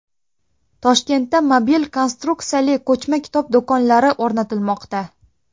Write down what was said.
Toshkentda mobil konstruksiyali ko‘chma kitob do‘konlari o‘rnatilmoqda.